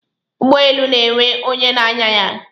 Ụgbọelu na-enwe onye na-anya ya.